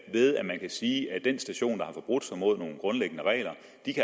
ved at man kan sige at den station der har forbrudt sig mod nogle grundlæggende regler